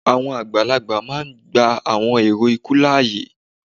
awọn agbalagba máà ń gba awọn èrò ikú láàyè